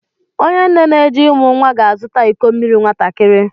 Onye nne n'eje imụ nwa ga-azụta iko mmiri nwatakịrị.